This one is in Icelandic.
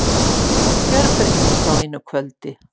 Hún gjörbreyttist á einu kvöldi.